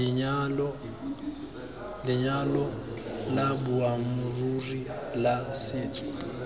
lenyalo la boammaaruri la setso